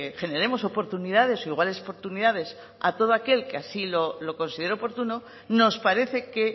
generemos oportunidades o iguales oportunidades a todo aquel que lo considere oportuno nos parece que